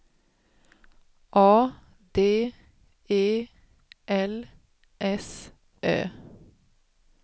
A D E L S Ö